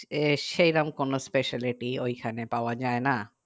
এ সেরকম কোনো specialty ওখানে পাওয়া যাই না